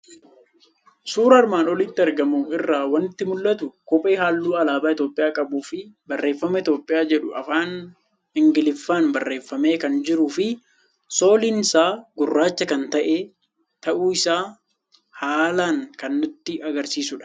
Suura armaan olitti argamu irraa waanti mul'atu; Kophee halluu Alaaba Itoophiyaa qabuufi barreeffama Itoophiyaa jedhu afaan Ingiliffaan barreeffamee kan jiruufi soolinsaa gurraacha kan ta'e, ta'uu isaa haalan kan nutti agarsiisudha.